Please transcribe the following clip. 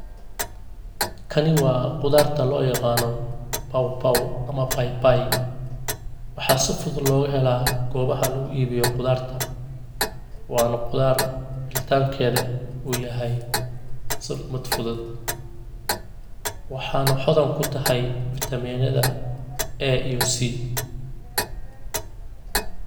Kani waa qudarta loo yaqana pawpaw ama papai waxaa si fudud loga hela gobaha lugu ibiyo qudarta, wana qudar ritankeeda uu yahay asiga mid fudud, waxana hodan kutahay fitamenada A iyo C